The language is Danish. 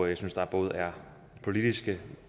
jeg synes der både er politiske